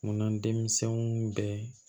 Munna denmisɛninw bɛ